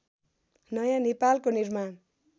नयाँ नेपालको निर्माण